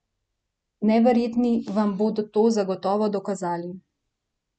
Neverjetni vam bodo to zagotovo dokazali!